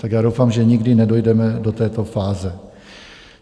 Tak já doufám, že nikdy nedojdeme do této fáze.